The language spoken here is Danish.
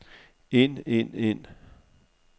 ind ind ind